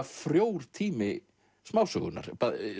frjór tími smásögunnar